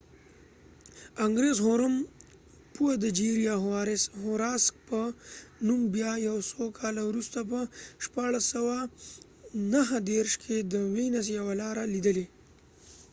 انګریز هوروم پوه د جیریا هوراکس په نوم بیا یو څو کاله وروسته په 1639کې د وینس یوه لاره ليدلي